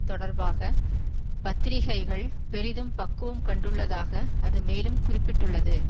தொடர்பாக பத்திரிகைகள் பெரிதும் பக்குவம் கண்டுள்ளதாக அது மேலும் குறிப்பிட்டுள்ளது